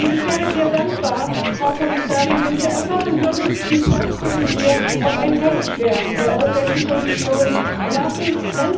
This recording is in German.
Ich wäre sehr dankbar, Frau Kommissarin, wenn wir erfahren könnten, bis wann wir auf ein Tätigwerden der Europäischen Kommission zählen können.